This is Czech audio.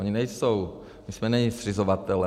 Oni nejsou, my jsme neni zřizovatelé.